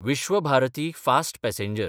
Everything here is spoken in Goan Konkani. Vishwabharati fast passenger